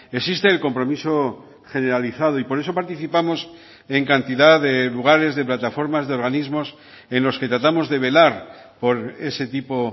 existe el compromiso generalizado y por eso participamos en cantidad de lugares de plataformas de organismos en los que tratamos de velar por ese tipo